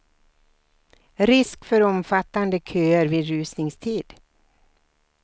Risk för omfattande köer vid rusningstid.